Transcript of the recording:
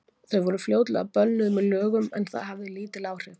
Þau voru fljótlega bönnuð með lögum, en það hafði lítil áhrif.